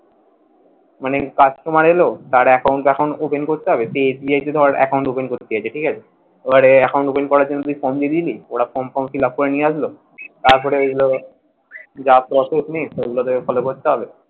মানে Customar এল তার account open করতে হবে সে SBI থেকে account open করতে চাইছে, ঠিক আছে এবারে করার জন্য তুই form দিয়ে দিলি ওরা form ঠম fill up করে নিয়ে আসল তারপরে ওই যা processing সেগুলো তোকে follow করতে হবে,